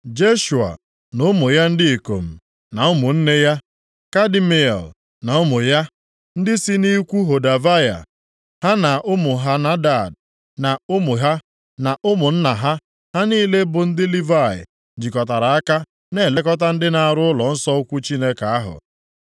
Jeshua na ụmụ ya ndị ikom, na ụmụnne ya, Kadmiel na ụmụ ya, ndị si nʼikwu Hodavaya, ha na ụmụ Henadad na ụmụ ha, na ụmụnna ha, ha niile bụ ndị Livayị, jikọtara aka na-elekọta ndị na-arụ ụlọnsọ ukwu Chineke ahụ.